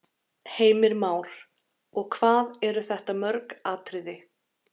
Heimir Már: Og hvað eru þetta mörg atriði?